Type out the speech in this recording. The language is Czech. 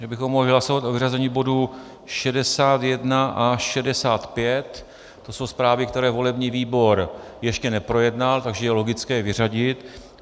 Že bychom mohli hlasovat o vyřazení bodů 61 a 65, to jsou zprávy, které volební výbor ještě neprojednal, takže je logické je vyřadit.